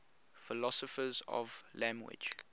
philosophers of language